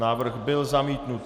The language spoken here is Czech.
Návrh byl zamítnut.